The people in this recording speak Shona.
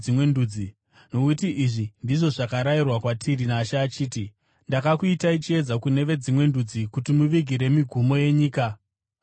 Nokuti izvi ndizvo zvakarayirwa kwatiri naShe achiti: “ ‘Ndakakuitai chiedza kune veDzimwe Ndudzi, kuti muvigire migumo yenyika ruponeso.’ ”